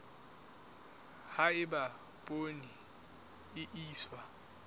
ha eba poone e iswa